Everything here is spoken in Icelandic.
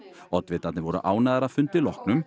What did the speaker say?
oddvitarnir voru ánægðir að fundi loknum